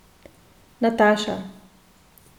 Nataša.